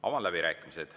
Avan läbirääkimised.